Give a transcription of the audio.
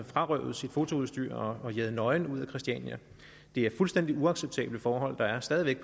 frarøvet sit fotoudstyr og jaget nøgen ud af christiania det er fuldstændig uacceptable forhold der stadig væk